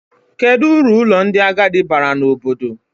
Kedụ uru ụlọ ndị agadi baara n'obodo?